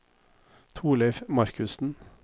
Thorleif Markussen